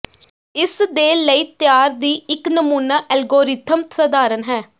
ਇਸ ਦੇ ਲਈ ਤਿਆਰ ਦੀ ਇੱਕ ਨਮੂਨਾ ਐਲਗੋਰਿਥਮ ਸਧਾਰਨ ਹੈ